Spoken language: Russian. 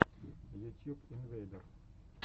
ютьюб инвейдер